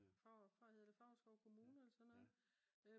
hedder det Favrskov kommune eller sådan noget